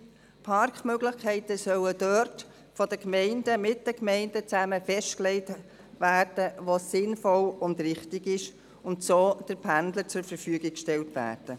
Parkmöglichkeiten sollen dort von den Gemeinden, gemeinsam mit den Gemeinden festgelegt werden, wo es sinnvoll und richtig ist, und so den Pendlern zur Verfügung gestellt werden.